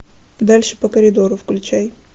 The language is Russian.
дальше по коридору включай